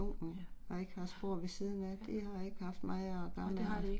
Ja, ja. Ja. Ja det har de ikke